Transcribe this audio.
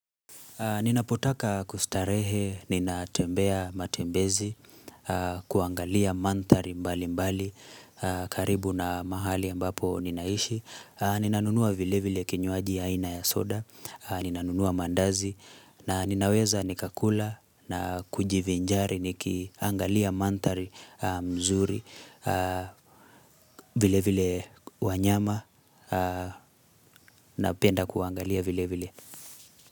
Ninapotaka kustarehe, ninatembea matembezi, kuangalia mandhari mbali mbali, karibu na mahali ambapo ninaishi. Ninanunua vile vile kinywaji ya aina ya soda, ninanunua mandazi, na ninaweza nikakula na kujivinjari nikiangalia mandhari mzuri, vile vile wanyama, na penda kuangalia vile vile.